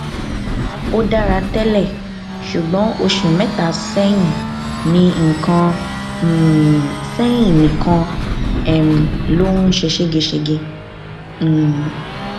ó dára tẹlẹ ṣùgbọn oṣù mẹta sẹyìn nìkan um sẹyìn nìkan um ló ń ṣe ségesège um